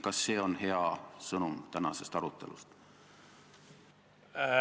Kas see on hea sõnum tänasest arutelust?